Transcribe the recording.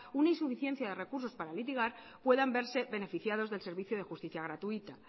una insuficiencia de recursos para litigar puedan verse beneficiados del servicio de justicia gratuita